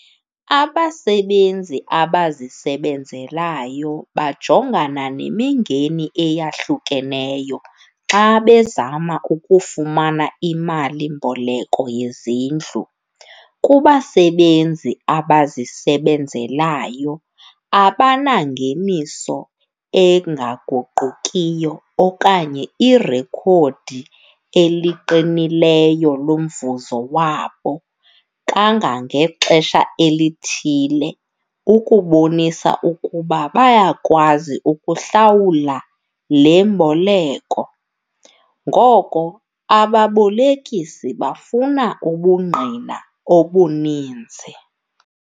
Abasebenzi abazisebenzelayo bajongana nemingeni eyahlukeneyo xa bezama ukufumana imalimboleko yezindlu. Kubasebenzi abazisebenzelayo abanangeniso engaguqukiyo okanye irekhodi eliqinileyo lomvuzo wabo kangangexesha elithile ukubonisa ukuba bayakwazi ukuhlawula le mboleko, ngoko ababolekisi bafuna ubungqina obuninzi.